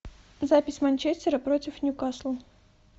запись манчестера против ньюкасла